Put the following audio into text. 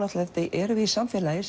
erum við í samfélagi